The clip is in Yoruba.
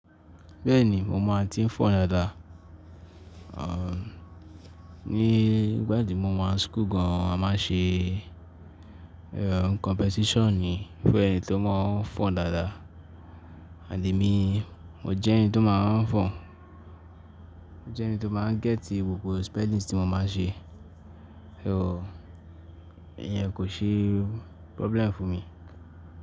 Bẹ́ẹ̀ni, mo máa ń tí ń fọn dáadáa. Aà, nígbà tí mo máa ń school gan an a máa ń ṣe competition fún ẹni tó máa ń fọn dáadáa. And emi, mo jẹ́ ẹni tó máa ń fọn. Mo jẹ́ ẹni tó máa ń gẹ́tì gbogbo spellings tí mo máa ń ṣe. Ẹ̀h, ẹ́ẹ̀, ẹyẹ̀n kò ṣe problem fún mi.